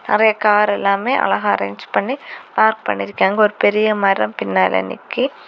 நெறைய கார் எல்லாமே அழகா அரேஞ்ச் பண்ணி பார்க் பண்ணிருக்காங்க ஒரு பெரிய மரம் பின்னால நிக்கி.